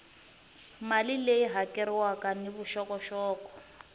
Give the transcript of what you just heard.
mali leyi hakeriwaka ni vuxokoxoko